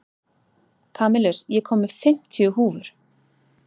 Kamilus, ég kom með fimmtíu húfur!